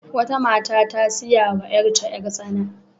Wata mata ta saya wa yarta yar-tsana.